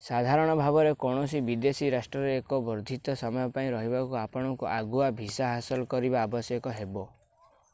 ସାଧାରଣ ଭାବରେ କୌଣସି ବିଦେଶୀ ରାଷ୍ଟ୍ରରେ ଏକ ବର୍ଦ୍ଧିତ ସମୟ ପାଇଁ ରହିବାକୁ ଆପଣଙ୍କୁ ଆଗୁଆ ଭିସା ହାସଲ କରିବା ଆବଶ୍ୟକ ହେବ